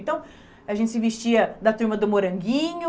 Então a gente se vestia da turma do Moranguinho,